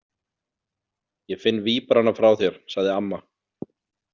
Ég finn víbrana frá þér, sagði amma.